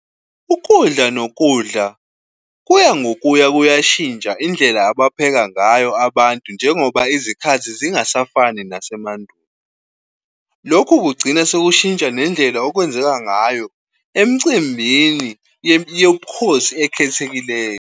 Ukudla nokudla kuya ngokuya kuya ngokuya kuyashintsha indlela abapheka ngayo abantu njengoba izikhathi zingasafani nasemandulo. Lokhu kugcina sekushintsha nendlela okwenzeka ngayo emcimbini yobukhosi ekhethekileyo.